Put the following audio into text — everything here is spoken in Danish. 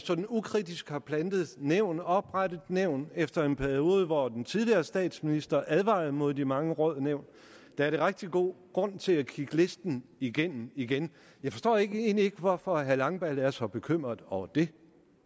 ukritisk har plantet nævn og oprettet nævn og efter en periode hvor den tidligere statsminister har advaret imod de mange råd og nævn er rigtig god grund til igen at kigge listen igennem igennem jeg forstår egentlig ikke hvorfor herre jesper langballe er så bekymret over det